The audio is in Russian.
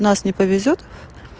нас не повезёт